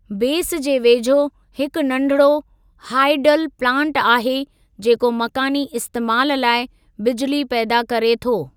बेसि जे वेझो हिकु नंढिड़ो हाईडल प्लांट आहे जेको मक़ानी इस्तेमालु लाइ बिजिली पैदा करे थो।